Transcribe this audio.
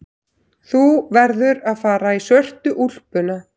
Þú verður að fara í svörtu úlpuna.